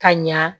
Ka ɲa